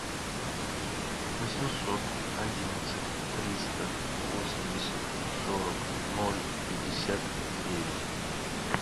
восемьсот одиннадцать триста восемьдесят сорок ноль пятьдесят девять